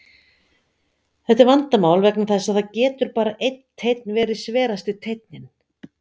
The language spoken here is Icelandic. Þetta er vandamál vegna þess að það getur bara einn teinn verið sverasti teinninn.